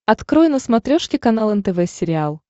открой на смотрешке канал нтв сериал